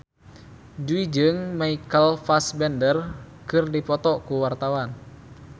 Jui jeung Michael Fassbender keur dipoto ku wartawan